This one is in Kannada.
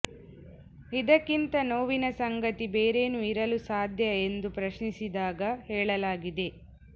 ಇದಕ್ಕಿಂತ ನೋವಿನ ಸಂಗತಿ ಬೇರೇನು ಇರಲು ಸಾಧ್ಯ ಎಂದು ಪ್ರಶ್ನಿಸಿದ್ದಾಗಿ ಹೇಳಲಾ ಗಿದೆ